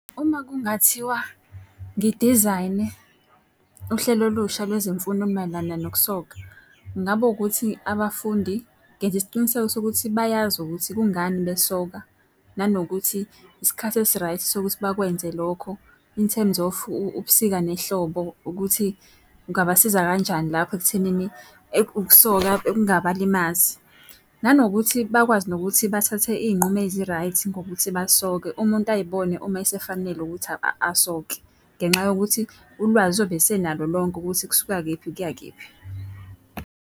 Uma kungathiwa ngidizayine uhlelo olusha lwezemfundo olumayelana nokusoka, ngabo ukuthi abafundi ngenze isiqiniseko sokuthi bayazi ukuthi kungani besoka. Nanokuthi isikhathi esi-right sokuthi bakwenze lokho in terms of ubusika nehlobo ukuthi kungabasiza kanjani lapho ekuthenini ukusoka kungabalimazi. Nanokuthi bakwazi nokuthi bathathe iy'nqumo ezi-right ngokuthi basoke umuntu ayibone uma esefanele ukuthi asoke, ngenxa yokuthi ulwazi uzobe esenalo lonke ukuthi kusuka kephi kuya kephi.